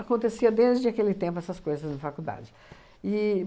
Acontecia desde aquele tempo essas coisas na faculdade. E